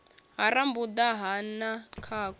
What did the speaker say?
ha rambuḓa na ha khakhu